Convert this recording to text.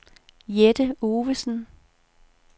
Jette Ovesen